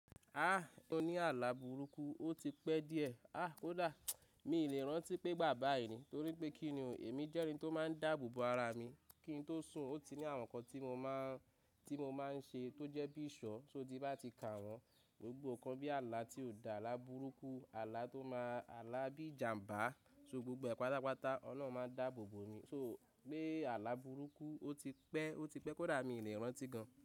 Ah! Ó ní àlà burúkú ó ti pẹ́ díẹ̀. Ah! Kódà mi ò lè rántí pé igbà báyìí ni, torí pé kíni ò, èmi jẹ́ ẹni tó máa ń dáàbòbo ara mi. Kín tó sùn, ó ti ní àwọn nǹkan tí mo máa ń ṣe tó jẹ́ bí iṣọ́, sóti bá ti kà wọ́n, gbogbo nǹkan bí àlà tí ò dáa, àlà burúkú, àlà tó máa, àlà bí ìjàmbá. So gbogbo ẹ̀ pàtàpàtà Olorun máa ń dáàbòbo mi. So pé àlà burúkú ó ti pẹ́, ó ti pẹ́, kódà mi ò lè rántí gan.